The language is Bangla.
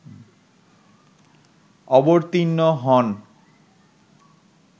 অবতীর্ণ হন